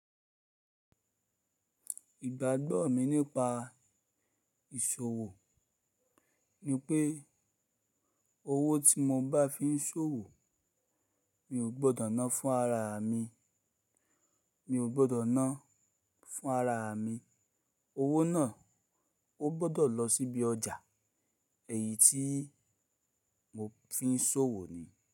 Ìgbàgbọ́ mi nípa ìṣòwò ni pé owó tí mo bá fi ń ṣòwò mi ò gbọ́dọ̀ ná fún ara mi, mi ò gbọ́dọ̀ ná fún ara mi. Owó náà ó gbọ́dọ̀ lọ sí ibi ọjà, èyí tí mo fi ń ṣòwò ni.